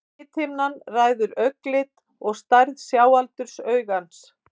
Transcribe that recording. lithimnan ræður augnlit og stærð sjáaldurs augans